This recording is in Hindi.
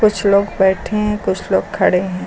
कुछ लोग बैठे हैं कुछ लोग खड़े हैं।